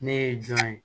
Ne ye jɔn ye